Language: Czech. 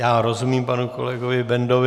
Já rozumím panu kolegovi Bendovi.